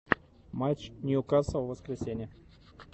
матч ньюкасл воскресенье